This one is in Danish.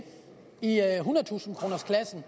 i hundredetusindekronersklassen